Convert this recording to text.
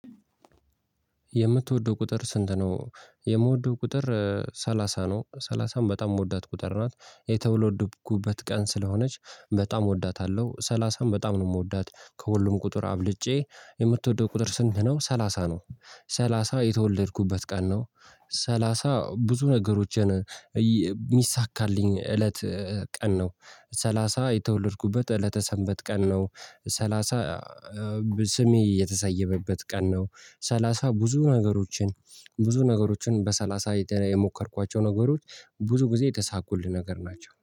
የምትወደው ቁጥር ስንት? ነው የምወደው ቁጥር ሰላሳ ነው ሰላሳን በጣም የምወዳት ቁጥር ናት የተወለድኩበት ቀን ስለሆነች በጣም እወዳታለሁ ሰላሳን በጣም ነው የምወዳት ከሁሉም ቁጥር አብልጬ። የምትወደው ቁጥር ስንት? ነው ሰላሳ ነው። ሰላሳ የተወለድኩበት ቀን ነው። ሰላሳ ብዙ ነገሮችን የሚሳካልኝ እለት ቀን ነው። ሰላሳ የተወለድኩበት እለተ ሰንበት ቀን ነው። ሰላሳ ስሜ የተሰየመበት ቀን ነው። ሰላሳ ብዙ ነገሮችን ብዙ ነገሮችን በሰላሳ የሞከርኳቸው ነገሮች ብዙ ጊዜ የተሳኩልን ነገር ናቸው